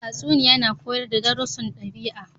Tatsuniya na koyar da darussun dabi'a.